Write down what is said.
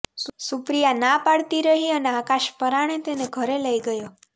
સુપ્રિયા ના પાડતીરહી અને આકાશ પરાણે તેને ઘરે લઇ ગયો